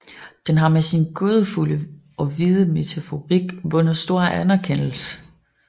Den har med sin gådefulde og vide metaforik vundet stor anerkendelse